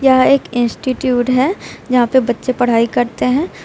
यह एक इंस्टिट्यूट है यहाँ पे बच्चे पढ़ाई करते हैं।